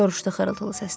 soruşdu xırıltılı səslə.